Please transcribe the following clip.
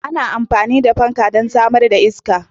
Ana amfani da fan don samar da iska.